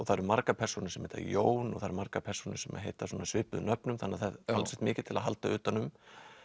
það eru margar persónur sem heita Jón og það eru margar persónur sem heita svona svipuðum nöfnum þannig að það er talsvert mikið til að halda utan um